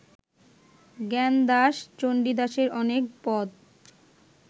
জ্ঞানদাস চণ্ডীদাসের অনেক পদ